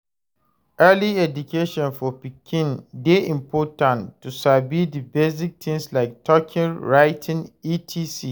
Early education for pikin de important to sabi di basic things like talking, writing etc